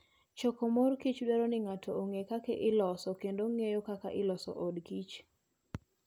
Choko mor kich dwaro ni ng'ato ong'e kaka iloso kendo ng'eyo kaka iloso odkich.